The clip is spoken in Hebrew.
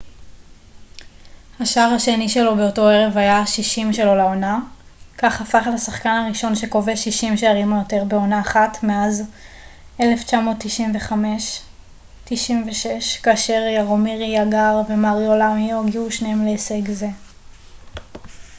השער השני שלו באותו ערב היה ה-60 שלו לעונה כך הפך לשחקן הראשון שכובש 60 שערים או יותר בעונה אחת מאז 1995-96 כאשר יארומיר יאגר ומריו למיו הגיעו שניהם להישג זה